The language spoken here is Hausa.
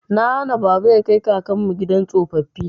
Na hana baba ya kai kakanmu gidan tsofaffi.